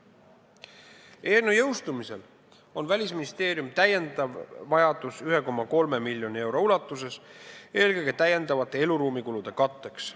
Eelnõu seadusena jõustumise korral on Välisministeeriumil lisavajadus 1,3 miljoni euro järele, eelkõige täiendavate eluruumikulude katteks.